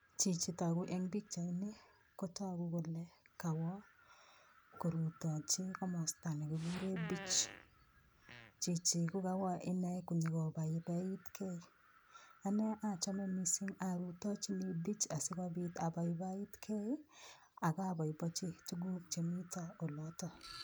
Chichi toku eng' pikchaini kotoku kole kawo korutochi komosta nekikure beach chichi kukawo ine konyikobaibaitkei ane achome mising' arutochini beach asikobit abaibaitkei akaboiboichi tukuk chemito oloto